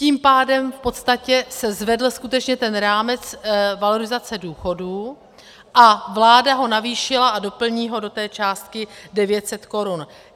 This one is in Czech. Tím pádem v podstatě se zvedl skutečně ten rámec valorizace důchodů a vláda ho navýšila a doplní ho do té částky 900 korun.